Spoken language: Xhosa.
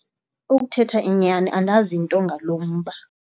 Ukuthetha inyani andazi nto ngalo mba.